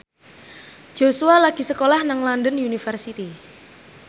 Joshua lagi sekolah nang London University